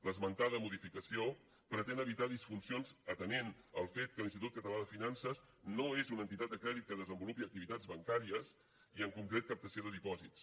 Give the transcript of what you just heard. l’esmentada modificació pretén evitar disfuncions atenent el fet que l’institut català de finances no és una entitat de crèdit que desenvolupi activitats bancàries ni en concret captació de dipòsits